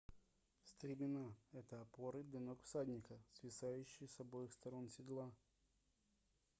стремена это опоры для ног всадника свисающие с обоих сторон седла